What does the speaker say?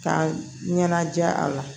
K'a ɲɛnajɛ a la